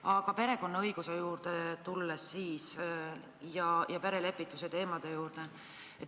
Aga lähen perekonnaõiguse ja perelepituse teemade juurde.